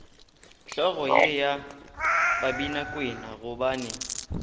hlogo ye ya babinakwena gobane